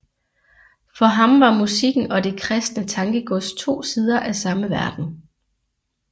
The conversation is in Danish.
For ham var musikken og det kristne tankegods to sider af samme verden